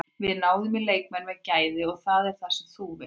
Við náðum í leikmenn með gæði og það er það sem þú vilt.